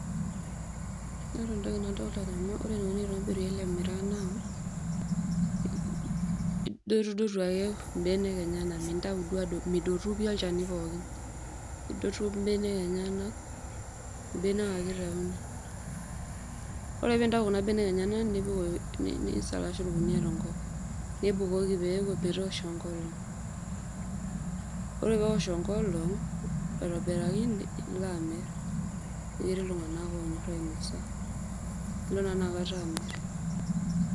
Ore entoki nadolita, ore enitobiri ele miraa naa idotutu ake mbenek enyenaknintau duo midotu olchani pooki idotu benek enyenak aitau ,ore piitau kuna benek enyenak nisalash orkunia tenkop nipukoki metoosho enkolong ore peosh enkolong aitobiraki nilo amir amu ketii ltunganak onya nilo na inakata amir.